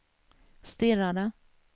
stirrade